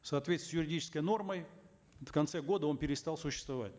в соответствии с юридической нормой в конце года он перестал существовать